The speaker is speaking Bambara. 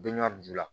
Be ɲɔjula